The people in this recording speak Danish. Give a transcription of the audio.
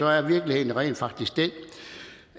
er virkeligheden rent faktisk den